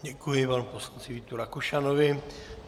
Děkuji panu poslanci Vítu Rakušanovi.